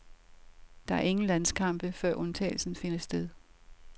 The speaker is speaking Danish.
Der er ingen landskampe, før udtagelsen finder sted.